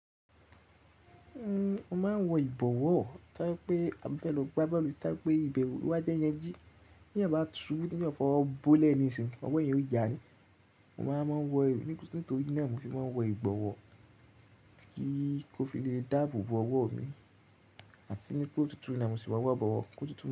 Uhm, mo máa ń wọ ìbọ̀wọ́, tó pé a fẹ́ lọ gbá bọ́ọ̀lù, ta bi pé ibẹ̀ òru wa jẹ́ yanji, bí èèyàn bá tu níbi ti eyan fọwọ̀ bó lẹ́ nisìn, ọmọ ẹyan ó já ni. Mo máa ń wọ e nítorí náà mo fi máa ń wọ ìbọ̀wọ́, kí ó fi lè dáàbò bo ọwọ́ mi àti ní kó tutù na mo sì máa wọ ìbọ̀wọ́ kó tutù.